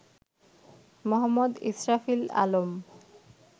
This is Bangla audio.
মো. ইসরাফিল আলম